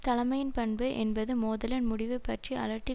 தலைமையின் பண்பு என்பது மோதலின் முடிவு பற்றி அலட்டி